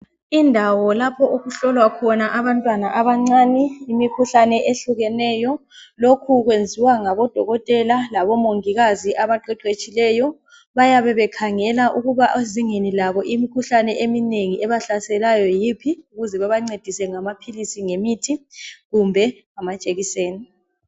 Indawo lapho okuhlolwa khona abantwana abancane imikhuhlane ehlukeneyo lokhu kwenziwa ngabodokotela labomongikazi abaqeqetshileyo bayabe bekhangela ukuba ezingeni labo imikhuhlane eminengi ebahlaselayo yiphi ukuze bebancedise ngamaphilisi ngemithi kumbe amajekiseni.